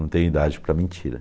Não tenho idade para mentira.